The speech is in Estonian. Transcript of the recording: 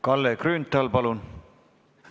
Kalle Grünthal, palun!